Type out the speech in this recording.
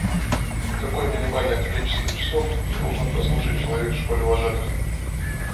какое минимальное количество часов должен прослушать человек в школе вожатых